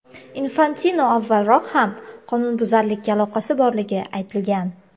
Infantino avvalroq ham qonunbuzarlikka aloqasi borligi aytilgan.